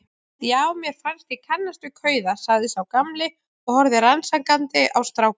Já, mér fannst ég kannast við kauða sagði sá gamli og horfði rannsakandi á strákana.